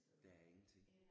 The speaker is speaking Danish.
Der er ingenting